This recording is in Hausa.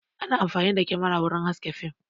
Ana amfani da kyamara wurin haske fim